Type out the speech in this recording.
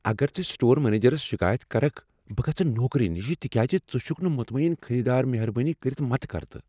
اگر ژٕ سٹور منیجرس شکایت کرکھ، بہٕ گژھٕ نوکری نِش تکیاز ژٕ چھکھ نہٕ مطمین خریٖدار مہربٲنی کٔرتھ متہ کر تہٕ۔